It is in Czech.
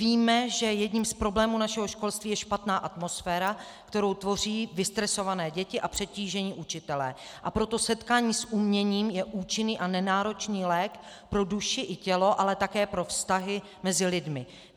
Víme, že jedním z problémů našeho školství je špatná atmosféra, kterou tvoří vystresované děti a přetížení učitelé, a proto setkání s uměním je účinný a nenáročný lék pro duši i tělo, ale také pro vztahy mezi lidmi.